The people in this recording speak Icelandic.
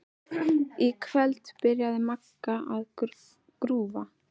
Í kvöld byrjaði Magga að grúfa.